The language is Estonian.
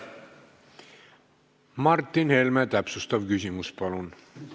Martin Helme, täpsustav küsimus, palun!